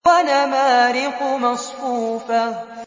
وَنَمَارِقُ مَصْفُوفَةٌ